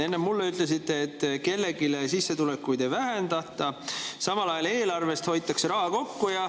Enne te mulle ütlesite, et kellegi sissetulekuid ei vähendata, samal ajal hoitakse eelarves raha kokku.